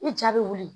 I ja bɛ wuli